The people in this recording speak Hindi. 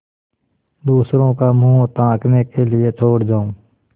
दूसरों का मुँह ताकने के लिए छोड़ जाऊँ